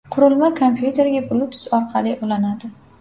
Qurilma kompyuterga Bluetooth orqali ulanadi.